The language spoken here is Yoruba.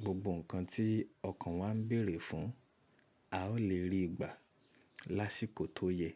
gbogbo nǹkan tí ọkàn wa ń bèrè fún, a ó lè rí gbà lásìkò tó yẹ.